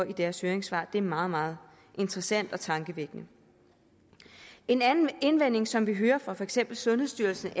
i deres høringssvar det er meget meget interessant og tankevækkende en anden indvending som vi hører fra for eksempel sundhedsstyrelsens